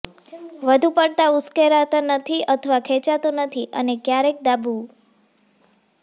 વધુ પડતા ઉશ્કેરતા નથી અથવા ખેંચાતો નથી અને ક્યારેય દાબવું